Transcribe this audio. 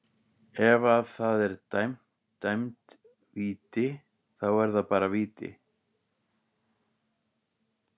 Ef að það er dæmd víti, þá er það bara víti.